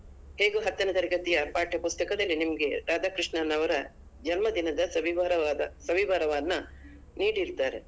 ಹೇಗೂ ಹತ್ತನೇ ತರಗತಿಯ ಪಾಠ ಪುಸ್ತಕದಲ್ಲಿ ನಿಮ್ಗೆ ರಾಧಾಕೃಷ್ಣನ್ ಅವರ ಜನ್ಮದಿನದ ಸವಿವರವಾದ ಸವಿವರವನ್ನ ನೀಡಿರ್ತಾರೆ.